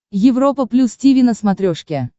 европа плюс тиви на смотрешке